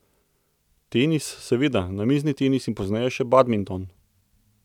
Tenis, seveda, namizni tenis in pozneje še badminton.